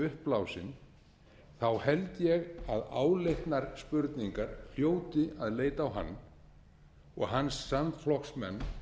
uppblásin held ég að áleitnar spurningar hljóti að leita á hann og hans samflokksmenn